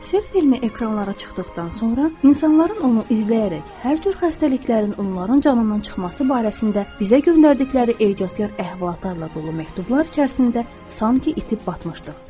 Sirr filmi ekranlara çıxdıqdan sonra insanların onu izləyərək hər cür xəstəliklərin onların canından çıxması barəsində bizə göndərdikləri ecazkar əhvalatlarla dolu məktublar içərisində sanki itib batmışdıq.